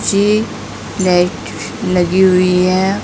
ये लाइट लगी हुई है।